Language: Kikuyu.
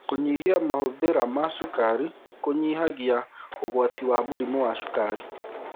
Kũnyĩa mahũthĩra ma cũkarĩ kũnyĩhagĩa ũgwatĩ wa mũrĩmũ wa cũkarĩ